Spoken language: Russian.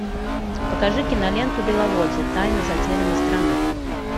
покажи киноленту беловодье тайны затерянной страны